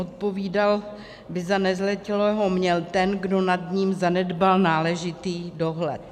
Odpovídat by za nezletilého měl ten, kdo nad ním zanedbal náležitý dohled.